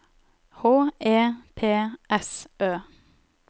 H E P S Ø